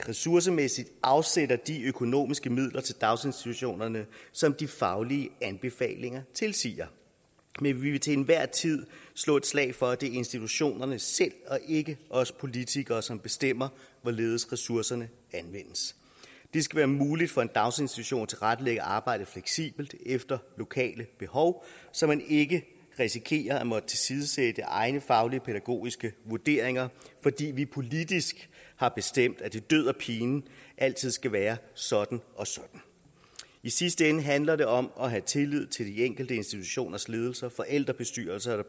ressourcemæssigt afsætter de økonomiske midler til daginstitutionerne som de faglige anbefalinger tilsiger men vi vil til enhver tid slå et slag for at det er institutionerne selv og ikke os politikere som bestemmer hvorledes ressourcerne anvendes det skal være muligt for en daginstitution at tilrettelægge arbejdet fleksibelt efter lokale behov så man ikke risikerer at måtte tilsidesætte egne faglige pædagogiske vurderinger fordi vi politisk har bestemt at det død og pine altid skal være sådan og sådan i sidste ende handler det om at have tillid til de enkelte institutioners ledelse forældrebestyrelse og